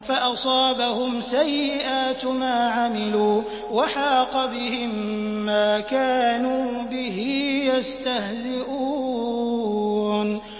فَأَصَابَهُمْ سَيِّئَاتُ مَا عَمِلُوا وَحَاقَ بِهِم مَّا كَانُوا بِهِ يَسْتَهْزِئُونَ